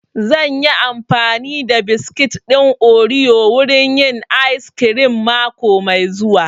Zan yi amfani da biskit ɗin oriyo wurin yin ayis kirim mako mai zuwa